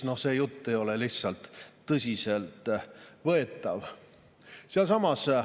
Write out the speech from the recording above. See jutt ei ole lihtsalt tõsiselt võetav.